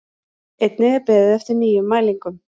Einnig er beðið eftir nýjum mælingum